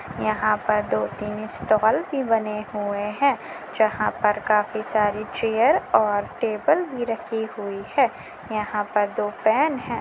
यहाँ पर दो तीन स्टाल भी बने हुए हैं जहाँ पर काफी सारी चेयर और टेबल भी रखी हुई है। यहां पर दो फैन हैं।